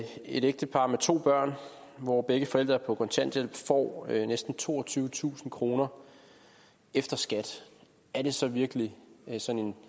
et ægtepar med to børn hvor begge forældre er på kontanthjælp får næsten toogtyvetusind kroner efter skat er det så virkelig sådan